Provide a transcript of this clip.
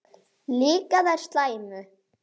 Líka þær slæmu.